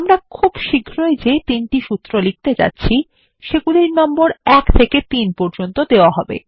আমরা খুব শীঘ্রই যে তিনটি সূত্র লিখতে যাচ্ছি সেগুলির নম্বর ১ থেকে ৩ পর্যন্ত দেওয়া হবে